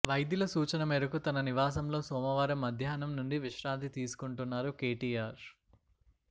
వైద్యుల సూచన మేరకు తన నివాసంలో సోమవారం మధ్యాహ్నం నుండి విశ్రాంతి తీసుకొంటున్నారు కేటీఆర్